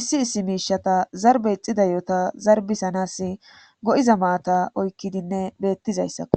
issi issi miisheta zarbbe ixxida yihota zarbbissanaassi go7iza maata oykkidinne beettizayssako.